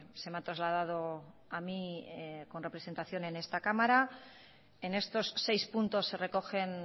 se me ha trasladado a mí con representación en esta cámara en estos seis puntos se recogen